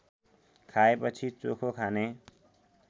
खाएपछि चोखो खाने